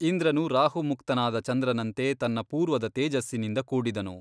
ಇಂದ್ರನು ರಾಹುಮುಕ್ತನಾದ ಚಂದ್ರನಂತೆ ತನ್ನ ಪೂರ್ವದ ತೇಜಸ್ಸಿನಿಂದ ಕೂಡಿದನು.